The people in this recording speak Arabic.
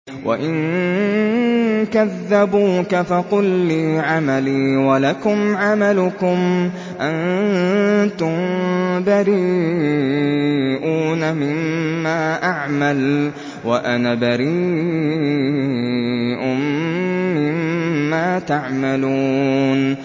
وَإِن كَذَّبُوكَ فَقُل لِّي عَمَلِي وَلَكُمْ عَمَلُكُمْ ۖ أَنتُم بَرِيئُونَ مِمَّا أَعْمَلُ وَأَنَا بَرِيءٌ مِّمَّا تَعْمَلُونَ